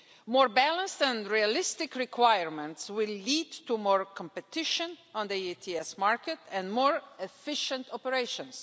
More balanced and realistic requirements will lead to more competition on the ETS market and more efficient operations.